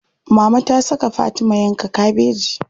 Mama ta saka Fatima yanka kabeji.